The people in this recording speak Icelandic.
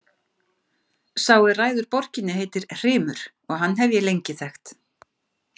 Sá er ræður borginni heitir Hrymur og hann hef ég lengi þekkt.